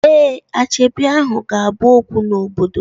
Ee, asoebi ahu ga-abu okwu n'obodo